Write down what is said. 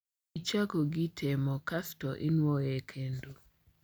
Ichakogi temo kasto inwoye kendo